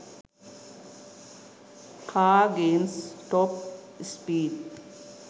car games top speed